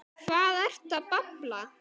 Hvað ertu að babla?